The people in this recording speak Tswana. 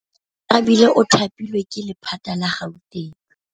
Oarabile o thapilwe ke lephata la Gauteng.